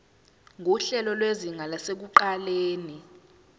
nguhlelo lwezinga lasekuqaleni